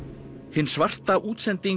hin svarta útsending